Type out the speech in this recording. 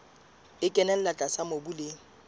e kenella tlase mobung le